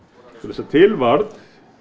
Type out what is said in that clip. svo til varð